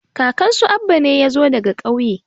kakan su Abba ne ya zo daga ƙauye